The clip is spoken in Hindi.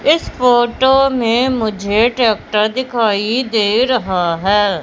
इस फोटो में मुझे ट्रैक्टर दिखाई दे रहा है।